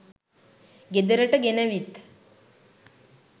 ගෙදරට ගෙනවිත්